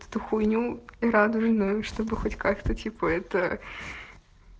что хуйню радужную чтобы хоть как то типа это